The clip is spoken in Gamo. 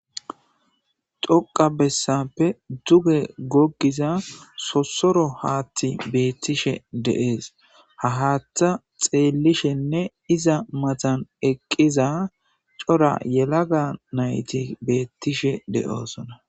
Xoqa bessappe duge goggiza sossoro haatti beettishe de'ees ha haatha xeellishenne iza matan eqqiza cora yelaga nayti beettishe de'osona